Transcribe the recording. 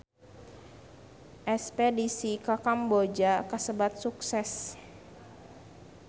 Espedisi ka Kamboja kasebat sukses